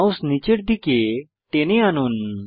mouse নীচের দিকে টেনে আনুন